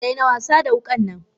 Daina wasada wukan nan!